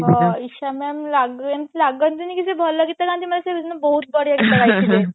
Isha mam ଲାଗନ୍ତି ଲାଗନ୍ତି ନି କି ସେ ଭଲ ଗୀତ ଗାନ୍ତି ମାନେ ସେ ସେଦିନ ବହୁତ ବଢିଆ ଗୀତ ଗାଇଥିଲେ